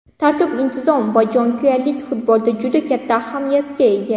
Tartib-intizom va jonkuyarlik futbolda juda katta ahamiyatga ega.